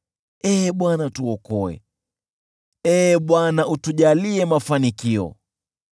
Ee Bwana , tuokoe, Ee Bwana , utujalie mafanikio.